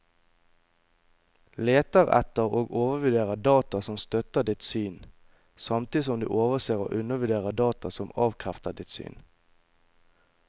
Leter etter og overvurderer data som støtter ditt syn, samtidig som du overser og undervurderer data som avkrefter ditt syn.